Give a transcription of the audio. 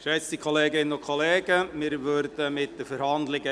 Geschätzte Kolleginnen und Kollegen, wir fahren weiter mit den Verhandlungen.